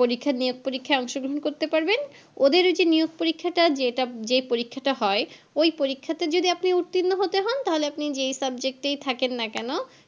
পরীক্ষা নিয়োগ পরীক্ষায় অংশ গ্রহণ করতে পারবেন ওদের ওই যে নিয়োগ পরীক্ষাটা যেটা যেই পরীক্ষাটা হয় ওই পরীক্ষাতে আপনি যদি উর্ত্তিন্ন হতে হন তাহলে আপনি যেই subject এই থাকেন না কেন